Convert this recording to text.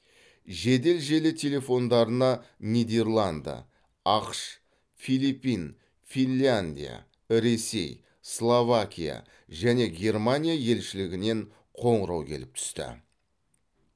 жедел желі телефондарына нидерланды ақш филиппин финляндия ресей словакия және германия елшілігінен қоңырау келіп түсті